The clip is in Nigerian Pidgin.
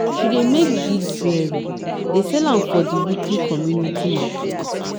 she dey make bead jewelry dey sell am for di weekly community market.